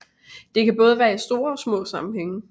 Det kan både være i store og små sammenhænge